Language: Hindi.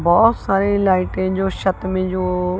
बहोत सारी लाइटें जो छत में जो--